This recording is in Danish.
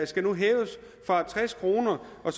skal nu hæves fra tres kroner og